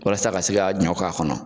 Walasa ka se ka ɲɔ k'a kɔnɔ